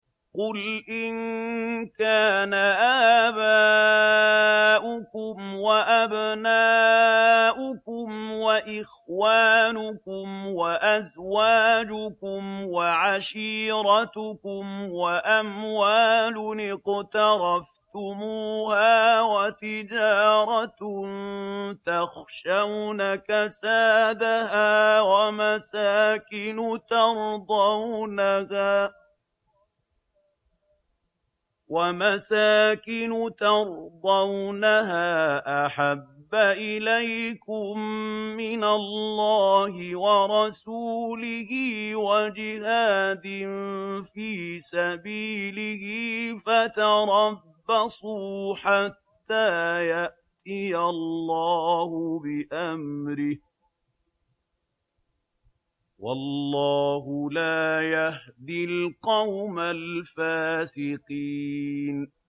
قُلْ إِن كَانَ آبَاؤُكُمْ وَأَبْنَاؤُكُمْ وَإِخْوَانُكُمْ وَأَزْوَاجُكُمْ وَعَشِيرَتُكُمْ وَأَمْوَالٌ اقْتَرَفْتُمُوهَا وَتِجَارَةٌ تَخْشَوْنَ كَسَادَهَا وَمَسَاكِنُ تَرْضَوْنَهَا أَحَبَّ إِلَيْكُم مِّنَ اللَّهِ وَرَسُولِهِ وَجِهَادٍ فِي سَبِيلِهِ فَتَرَبَّصُوا حَتَّىٰ يَأْتِيَ اللَّهُ بِأَمْرِهِ ۗ وَاللَّهُ لَا يَهْدِي الْقَوْمَ الْفَاسِقِينَ